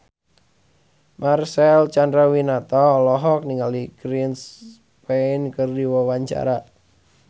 Marcel Chandrawinata olohok ningali Chris Pane keur diwawancara